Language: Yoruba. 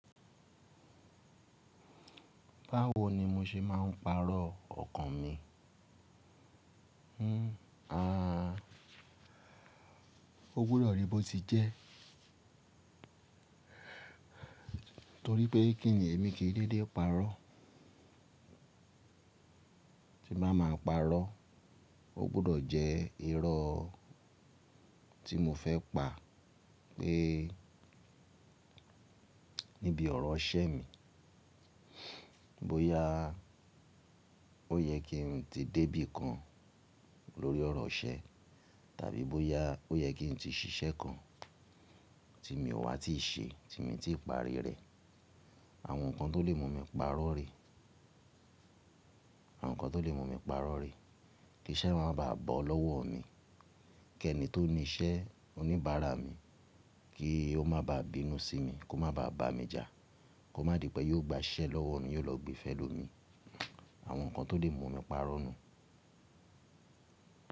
Báwo ni mo ṣe máa ń pàrọ̀ ọkàn mi? Hmm, aàa, ó gbọdọ̀ ríi bó ti jẹ́. Nítorí pé kí èmi kìí ríré pàrọ̀, tí bá máa pàrọ̀, ó gbọ́dọ̀ jẹ́ irọ́ tí mo fẹ́ pa pé níbi ọ̀rọ̀ iṣẹ́ mi, bóyá ó yẹ kí n tí dé bí kan lórí ọ̀rọ̀ iṣẹ́, tàbí bóyá ó yẹ kí n tí ṣiṣẹ́ kan tí mi ò wá ti ṣe, tí mo ti pari rẹ̀. Àwọn nǹkan tó lè mú mi pàrọ̀ rè, àwọn nǹkan tó lè mú mi pàrọ̀ rè, kí iṣẹ́ máa ba à bọ́ lọ́wọ́ mi, kí ẹni tó ní iṣẹ́ oníbàárà mi, kí ó máa ba à bínú sí mi, kó má ba à bà mí já, kó má di pé yóò gba iṣẹ́ lọ́wọ́ mi, yóò lọ gbe fẹ́ lo mi. Àwọn nǹkan tó lè mú mi pàrọ̀ nù.